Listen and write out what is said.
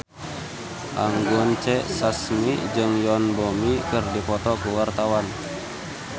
Anggun C. Sasmi jeung Yoon Bomi keur dipoto ku wartawan